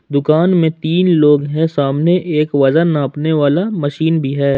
दुकान में तीन लोग हैं सामने वजन नापने वाला मशीन भी है।